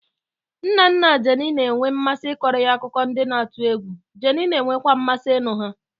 Nna nna Jenny na-enwe mmasị ịkọrọ ya akụkọ ndị na-atụ egwu, Jenny na-enwekwa mmasị ịnụ ha.